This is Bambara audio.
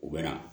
U bɛ na